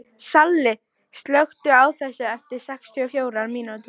Salli, slökktu á þessu eftir sextíu og fjórar mínútur.